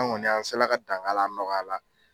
An ŋɔni an sela ka dan g'a la, a nɔgɔyala